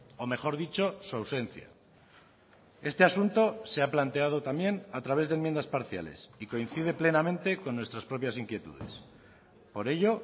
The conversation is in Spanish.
o mejor dicho su ausencia este asunto se ha planteado también a través de enmiendas parciales y coincide plenamente con nuestras propias inquietudes por ello